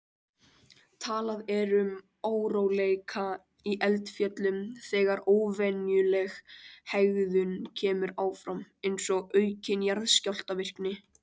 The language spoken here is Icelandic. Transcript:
Talað er um óróleika í eldfjöllum þegar óvenjuleg hegðun kemur fram, eins og aukin jarðskjálftavirkni.